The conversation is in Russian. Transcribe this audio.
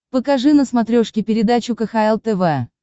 покажи на смотрешке передачу кхл тв